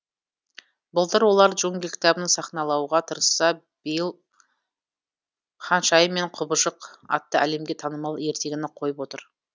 былтыр олар джунгли кітабын сахналауға тырысса биыл ханшайым мен құбыжық атты әлемге танымал ертегіні қойып отыр